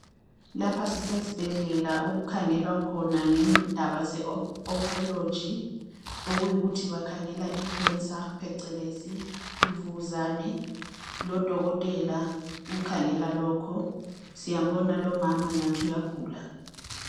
Lapha sisesibhedlela okukhangelwa khona ngendaba ze oncology okuyikuthi bakhangela icancer phecelezi imvukuzane. Udokotela ukhangela lokho siyambona lomama ngathi uyagula.